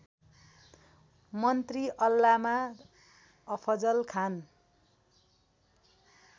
मन्त्री अल्लामा अफजल खान